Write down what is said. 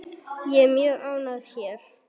Ég er mjög ánægð hér.